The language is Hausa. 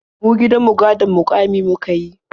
Ni gidan mu gadon muƙami muka yi.